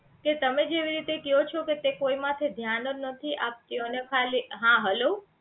કે તમે જેવી રીતે કયો છો કે તે કો માટે ધ્યાન જ નથી આપતો તેઓ ને ખાલી હં હેલો